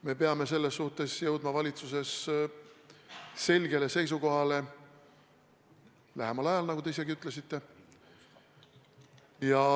Me peame selles suhtes jõudma valitsuses selgele seisukohale lähemal ajal, nagu te isegi ütlesite.